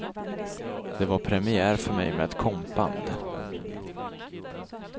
Det var premiär för mig med ett kompband.